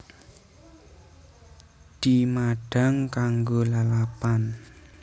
Dimadhang kanggo lalapan